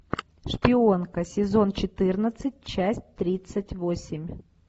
шпионка сезон четырнадцать часть тридцать восемь